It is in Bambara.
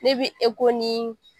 Ne bi ni